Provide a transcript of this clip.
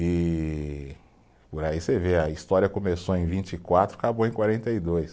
E por aí você vê, a história começou em vinte e quatro, acabou em quarenta e dois.